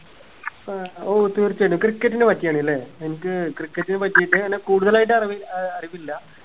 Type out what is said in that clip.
ഏർ ഓ തീർച്ചയായിട്ടും cricket നെ പറ്റിയാണല്ലെ എനിക്ക് cricket നെ പറ്റീട്ട് അങ്ങന കൂടുതലായിട്ട് അറിവ് ഏർ അറിവില്ല